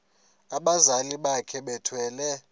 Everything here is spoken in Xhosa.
abazali bakhe bethwele